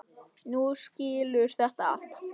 Þú skilur þetta allt.